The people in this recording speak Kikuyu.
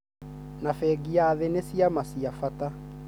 na bengi ya thĩ nĩ ciama cia bata